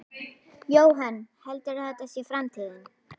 Jóhann: Heldurðu að þetta sé framtíðin?